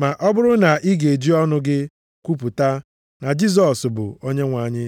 Ma ọ bụrụ na ị ga-eji ọnụ gị kwupụta, na “Jisọs bụ Onyenwe anyị,”